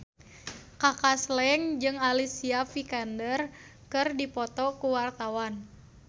Kaka Slank jeung Alicia Vikander keur dipoto ku wartawan